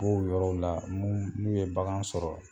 B'o yɔrɔw la mun n'u ye bagan sɔrɔ